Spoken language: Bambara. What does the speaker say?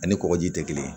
Ani kɔkɔji tɛ kelen ye